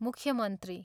मुख्यमन्त्री।